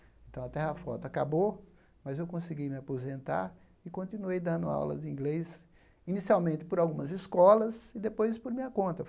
Então, a terra-foto acabou, mas eu consegui me aposentar e continuei dando aula de inglês, inicialmente por algumas escolas e depois por minha conta.